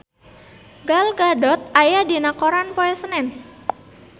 Gal Gadot aya dina koran poe Senen